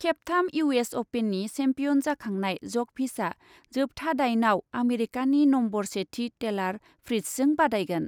खेबथाम U S अपेननि champion जाखांनाय जकभिचआ जोबथा दाइनआव आमेरिकानि नम्बर सेथि टेलार फ्रिट्जजों बादायगोन।